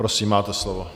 Prosím, máte slovo.